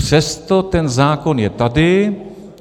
Přesto ten zákon je tady.